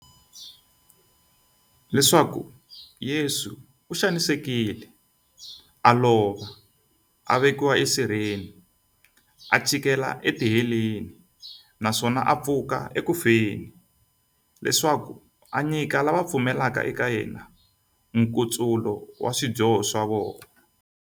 Leswaku Yesu u xanisekile, a lova, a vekiwa e sirheni, a chikela e tiheleni, naswona a pfuka eku feni, leswaku a nyika lava va pfumelaka eka yena, nkutsulo wa swidyoho swa vona.